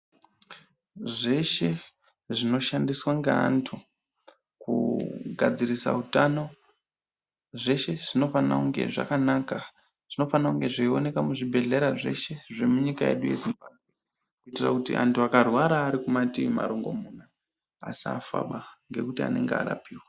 Zveshe zvinoshandiswa ngaantu kugadzirisa utano, zveshe zvinofane kunge zvakanaka , zvinofane kunge zveioneka muzvibhedhlera zveshe zvemunyika yedu yeZimbabwe kuitira kuti antu akarwara ari kumatii marongomuna asafaba ngekuti anenge arapiwa.